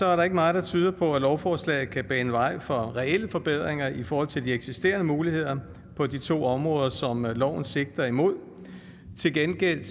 er der ikke meget der tyder på at lovforslaget kan bane vej for reelle forbedringer i forhold til de eksisterende muligheder på de to områder som loven sigter mod til gengæld